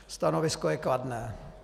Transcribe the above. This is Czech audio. Stanovisko je kladné.